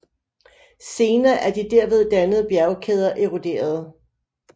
Senere er de derved dannede bjergkæder eroderede